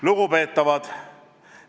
Lugupeetavad!